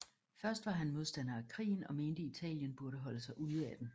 Først var han modstander af krigen og mente Italien burde holde sig ude af den